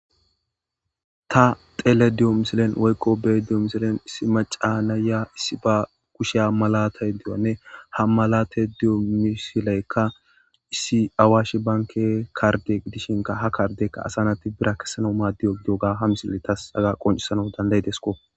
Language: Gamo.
Ta tele diyo misilen woykqo bee diyo misilen issi macaana ya issi ba kusheya malatay diyanne ha malate diyo misileykka issi awaashi banke karge gidishinka ha kardekka asanati bira kessana maaddiyo doga ha misille tas aga qoncisana dandaydesko.